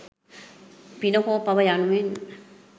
පින හෝ පව යනුවෙන්